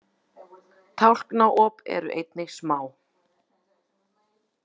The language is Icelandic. Tálknaop eru einnig smá.